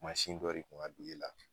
Masin dɔ de kun ka dɔ e la